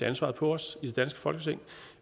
ansvaret på os i det danske folketing